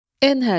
N hərfi.